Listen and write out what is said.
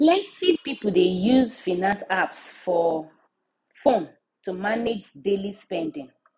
plenty people dey use finance apps for phone to manage daily spending